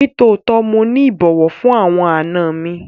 Nitootọ, Mo ni ibọwọ fun awọn àna mi